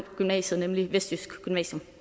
gymnasiet nemlig vestjysk gymnasium